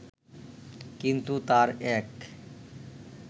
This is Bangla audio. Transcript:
কিন্তু তাঁর এক